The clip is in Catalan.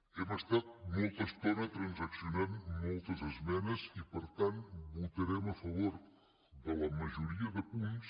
hem estat molta estona transaccionant moltes esmenes i per tant votarem a favor de la majoria de punts